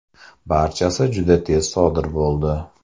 Barchasi juda tez sodir bo‘ldi.